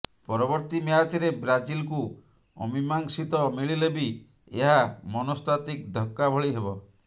ପରବର୍ତୀ ମ୍ୟାଚ୍ରେ ବ୍ରାଜିଲ୍କୁ ଅମୀମାଂସିତ ମିିଳିଲେ ବି ଏହା ମନସ୍ତାତ୍ତ୍ୱିକ ଧକ୍କା ଭଳି ହେବ